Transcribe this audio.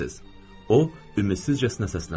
O ümidsizcəsinə səsləndi.